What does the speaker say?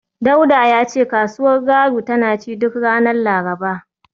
Dauda ya ce kasuwar Garu tana ci duk ranar Laraba